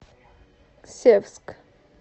севск